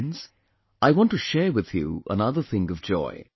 Friends, I want to share with you another thing of joy